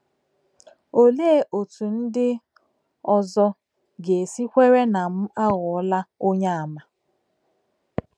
Olee otú ndị ọzọ ga - esi kwere na m a ghọọla Onyeàmà? ”